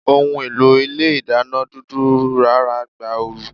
Ohùn èlò Ilé ìdáná dúdú rára gba ooru